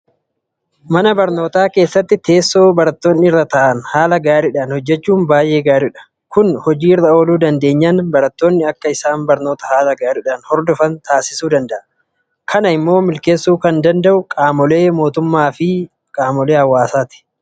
Mana barnootaa keessatti teessoo barattoonni irra taa'an haala gaariidhaan hojjechuun baay'ee gaariidha. Kun hojii irra ooluu dandeenyaan barattoonni akka isaan barnoota haala gaariidhaan hordofan taasisuu danda'a. Kana immoo milkeessuu kan danda'u qaamolee mootummaafi uummatadha.